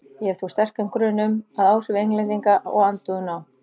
Ég hef þó sterkan grun um, að áhrif Englendinga og andúðina á